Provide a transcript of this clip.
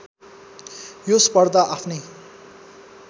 यो स्पर्धा आफ्नै